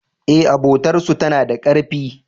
E, abotar su tana da karfi.